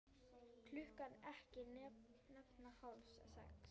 Klukkan ekki nema hálf sex.